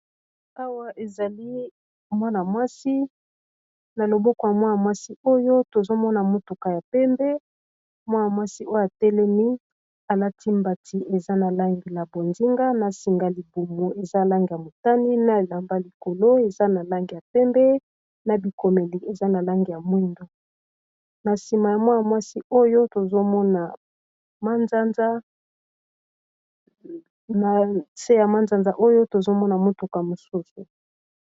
awa ezali mwanamwasi na loboko yamwasi oyo tozomona motuka ya pembe mwanamwasi oyo atelemi alati mbati eza na langi ya bozinga na singa libumu eza langi ya motane na elamba likolo eza na langi ya pembe na bikomeli eza na langi ya mwindu na sima ya mwanamwasi oyo tozomona motuka mosusu.